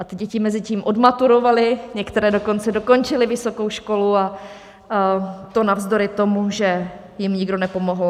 A ty děti mezitím odmaturovaly, některé dokonce dokončily vysokou školu, a to navzdory tomu, že jim nikdo nepomohl.